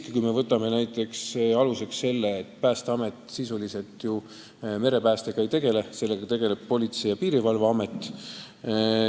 Kui me võtame näiteks aluseks selle, kuidas Eestis on, siis Päästeamet ju sisuliselt merepäästega ei tegele, sellega tegeleb Politsei- ja Piirivalveamet.